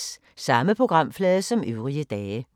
Samme programflade som øvrige dage